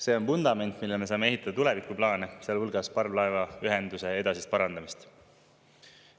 See on vundament, millele me saame ehitada tulevikuplaane, sealhulgas parvlaevaühenduse edasist parandamist.